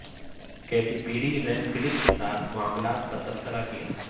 Katy Perry Ryan Phillippe کے ساتھ معاملات پر تبصرہ کیا